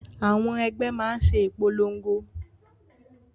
Àwọn ẹgbẹ́ máa ṣe ìpolongo